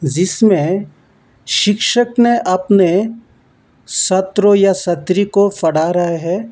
जिसमें शिक्षक ने अपने छात्रों या छात्री को पढ़ा रहा है।